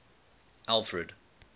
alfred